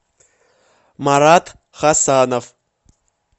марат хасанов